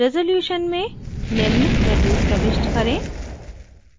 resolution में निम्न values प्रविष्ट करें: